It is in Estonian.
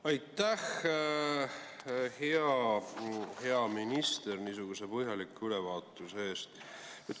Aitäh, hea minister, niisuguse põhjaliku ülevaatuse eest!